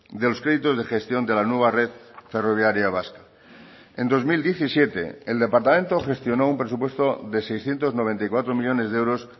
de los créditos de gestión de la nueva red ferroviaria vasca en dos mil diecisiete el departamento gestionó un presupuesto de seiscientos noventa y cuatro millónes de euros